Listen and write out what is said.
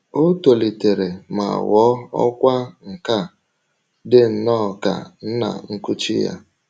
O tolitere ma ghọọ ọkwá nkà, dị nnọọ ka nna nkuchi ya.